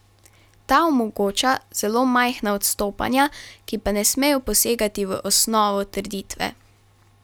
Ta omogoča zelo majhna odstopanja, ki pa ne smejo posegati v osnovo trditve.